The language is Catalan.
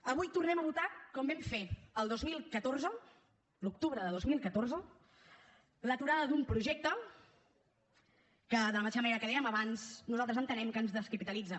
avui tornem a votar com vam fer el dos mil catorze l’octubre de dos mil catorze l’aturada d’un projecte que de la mateixa manera que dèiem abans nosaltres entenem que ens descapitalitza